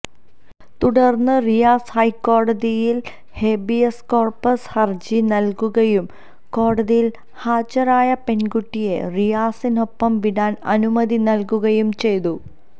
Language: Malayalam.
തുടര്ന്ന് റിയാസ് ഹൈക്കോടതിയില് ഹേബിയസ് കോര്പ്പസ് ഹര്ജി നല്കുകയും കോടതിയില് ഹാജരായ പെണ്കുട്ടിയെ റിയാസിനൊപ്പം വിടാന് അനുമതി നല്കുകയും ചെയ്തു